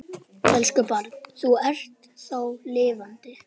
Elsku barn, þú ert þá lifandi.